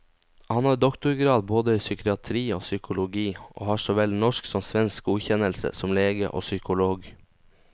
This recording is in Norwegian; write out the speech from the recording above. Han har doktorgrad både i psykiatri og psykologi, og har så vel norsk som svensk godkjennelse som lege og psykolog.